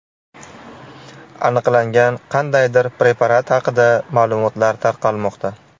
Aniqlangan qandaydir preparat haqida ma’lumotlar tarqalmoqda.